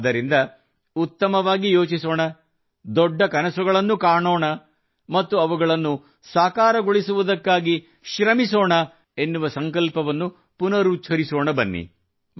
ಆದ್ದರಿಂದ ಉತ್ತಮವಾಗಿ ಯೋಚಿಸೋಣ ದೊಡ್ಡ ಕನಸುಗಳನ್ನು ಕಾಣೋಣ ಮತ್ತು ಅವುಗಳನ್ನು ಸಾಕಾರಗೊಳಿಸುವುದಕ್ಕಾಗಿ ಶ್ರಮಿಸೋಣ ಎನ್ನುವ ಸಂಕಲ್ಪವನ್ನು ಪುನರುಚ್ಚರಿಸೋಣ ಬನ್ನಿ